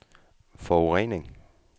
forurening